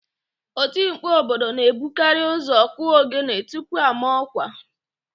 Otimkpu obodo na-ebukarị ụ́zọ̀ kụọ ogene tupu ọ maa ọ́kwà.